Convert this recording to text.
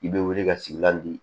I bɛ wuli ka sigilan di